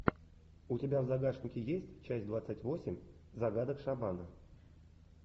у тебя в загашнике есть часть двадцать восемь загадок шамана